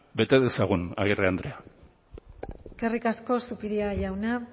bete dezagun agirre andrea eskerrik asko zupiria jauna